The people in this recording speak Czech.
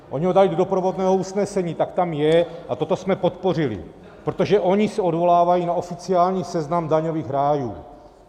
Oni ho dají do doprovodného usnesení, tak tam je a toto jsme podpořili, protože oni se odvolávají na oficiální seznam daňových rájů.